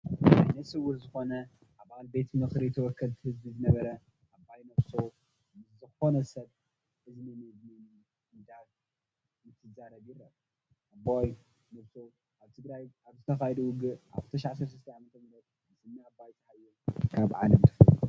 ዓይነስውር ዝኾነ ኣባል ቤት ምኽሪ ወከልቲ ህዝቢ ዝነበረ ኣባይ ነብሶ ምስ ዝኾነ ሰብ እዝኒ ንእዝኒ እንትዛረብ ይርአ፡፡ ኣባይ ነብሶ ኣብ ትግራይ ኣብ ዝተኻየደ ውግእ ኣብ 2013 ዓም ምስ እኒ ኣባይ ፀሃየ ካብ ዓለም ተፈልዩ እዩ፡፡